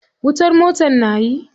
Wutar motar na yi.